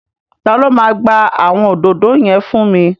Ta ló máa gba àwọn òdòdó yẹn fún mi?